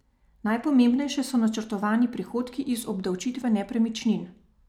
Najpomembnejše so načrtovani prihodki iz obdavčitve nepremičnin.